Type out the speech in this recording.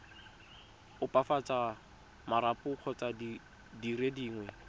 opafatsa marapo kgotsa dire dingwe